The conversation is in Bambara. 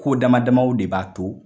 Ko damadamaw de b'a to